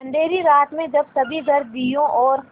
अँधेरी रात में जब सभी घर दियों और